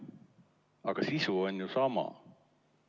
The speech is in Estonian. Aga sisu on ju sama.